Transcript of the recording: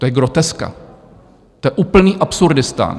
To je groteska, to je úplný absurdistán.